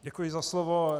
Děkuji za slovo.